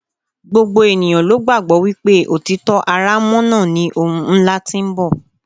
gbogbo ènìyàn ló gbàgbọ́ wípé òtítọ́ aránmọ́nà ni ohun ńlá tí ń bọ̀